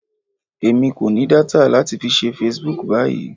Èmi kò ní data láti fi ṣe Facebook báyìí.